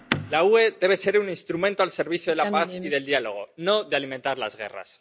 La UE debe ser un instrumento al servicio de la paz y del diálogo, no de alimentar las guerras.